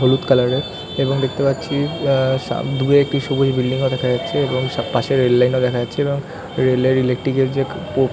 হলুদ কালার এর এবং দেখতে পাচ্ছি আ দূরে একটি সবুজ বিল্ডিং ও দেখা যাচ্ছে এবং পাশে রেল লাইন ও দেখা যাচ্ছে এবং রেল লাইন এর ইলেকট্রিক এর যে পোর --।